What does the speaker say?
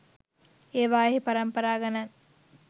ඒවායෙහි පරම්පරා ගණන්